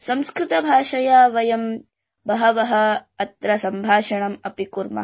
संस्कृतं भाषा वयमत्र वहवहअत्र सम्भाषणमअपि कुर्मः